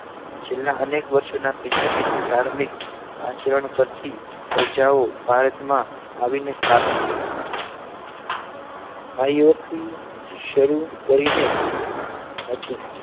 છેલ્લા અનેક વર્ષોના ભિન્નભિન્ન ધાર્મિક આચરણ કરતી પ્રજાઓ ભારતમાં આવીને સ્થાપી છે ભાઈઓ થી શરૂ કરીને હતું